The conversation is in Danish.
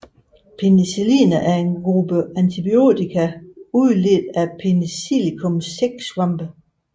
Penicilliner er en gruppe antibiotika udledt fra Penicillium sæksvampe